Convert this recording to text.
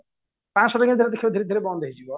ପାଞ୍ଚଶହ ଟଙ୍କିଆ ଦେଖିବ ଧୀରେ ଧୀରେ ବନ୍ଦ ହେଇଯିବ